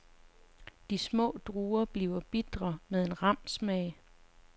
De små druer blevet bitre med en ram smag.